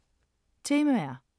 Temaer